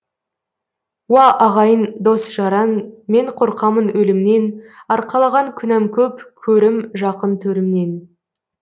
уа ағайын дос жаран мен қорқамын өлімнен арқалаған күнәм көп көрім жақын төрімнен